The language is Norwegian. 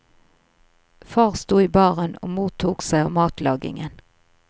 Far sto i baren og mor tok seg av matlagingen.